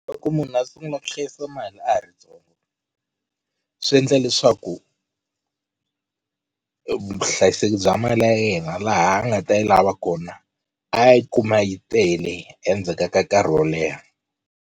Loko munhu a sungula ku hlayisa mali a ha ri ntsongo swi endla leswaku vuhlayiseki bya mali ya yena laha a nga ta yi lava kona a yi kuma yi tele endzhaka ka nkarhi wo leha.